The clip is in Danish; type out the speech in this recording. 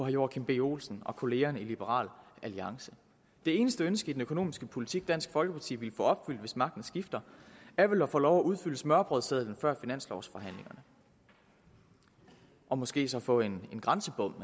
joachim b olsen og kollegaerne i liberal alliance det eneste ønske i den økonomiske politik som dansk folkeparti ville få opfyldt hvis magten skifter er vel at få lov til at udfylde smørrebrødssedlen før finanslovsforhandlingerne og måske så få en grænsebom